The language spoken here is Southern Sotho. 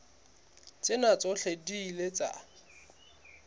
tsena tsohle di ile tsa